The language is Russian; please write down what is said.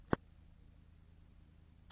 нердрайтер